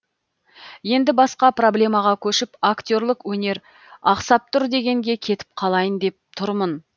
енді басқа проблемаға көшіп актерлік өнер ақсап тұр дегенге кетіп қалайын деп тұрмын